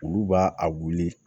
Olu b'a a wuli